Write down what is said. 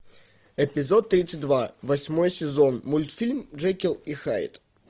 эпизод тридцать два восьмой сезон мультфильм джекил и хайд